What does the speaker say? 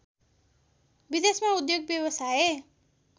विदेशमा उद्योग व्यवसाय